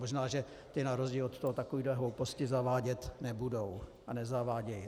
Možná že ti na rozdíl od toho takové hlouposti zavádět nebudou a nezavádějí.